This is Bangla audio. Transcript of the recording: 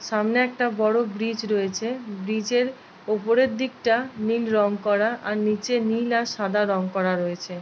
সামনে একটা বড় ব্রিজ রয়েছে ব্রিজ -এর ওপরের দিকটা নীল রং করা আর নিচে নীল আর সাদা রং করা রয়েছে। --